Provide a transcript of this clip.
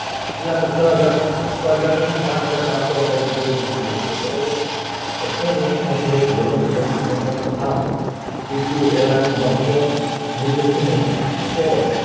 એટલે છ હાજર છ હાજર તો નઈ પાંચ હાજર પાનસો અંદાજે લખી શકીયે બરોબર છઠહો પપ્રશ્ન છે જીવન ની ભૌતિક મૂલ્ય શું હતું